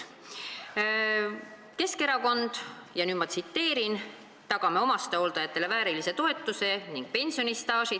Keskerakonna programm: "Tagame omastehooldajatele väärilise toetuse ning pensionistaaži.